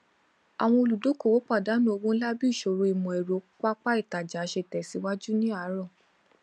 àwọn olùdókòwò pàdánù owó ńlá bí ìṣòro ìmọẹrọ pápá ìtajà ṣe tẹsíwájú ni àárọ